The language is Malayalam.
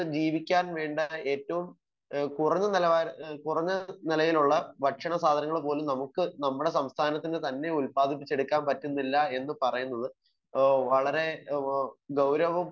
സ്പീക്കർ 1 ജീവിക്കാൻ വേണ്ട ഏറ്റവും കുറഞ്ഞ നിലവാരത്തിൽ ഹ്മ് കുറഞ്ഞ നിലയിലുള്ള ഭക്ഷണ സാധനങ്ങൾ പോലും നമുക്ക് നമ്മുടെ സംസ്ഥാനത്തിന് തന്നെ ഉൽപ്പാദിപ്പിച്ചെടുക്കാൻ പറ്റുന്നില്ല എന്ന് പറയുന്നത് ഇപ്പോ വളരെ ഏഹ് ഗൗരവം